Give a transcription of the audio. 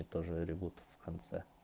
и тоже ревут в конце